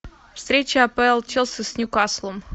встреча апл челси с ньюкаслом